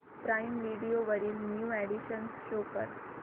prime Video वरील new additions show कर